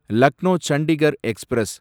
Lucknow Chandigarh express